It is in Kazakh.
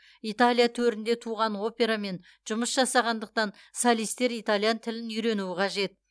италия төрінде туған операмен жұмыс жасағандықтан солистер итальян тілін үйренуі қажет